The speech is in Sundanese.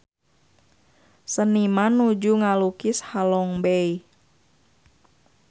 Seniman nuju ngalukis Halong Bay